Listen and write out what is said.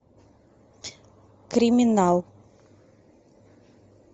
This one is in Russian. криминал